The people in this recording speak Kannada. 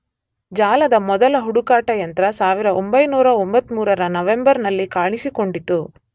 ಜಾಲದ ಮೊದಲ ಹುಡುಕಾಟ ಯಂತ್ರ 1993ರ ನವೆಂಬರ್ ನಲ್ಲಿ ಕಾಣಿಸಿಕೊಂಡಿತು.